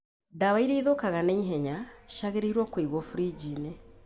Ndawa iria ithũkaga na ihenya ciagĩrĩiruo kũigwo briji-inĩ.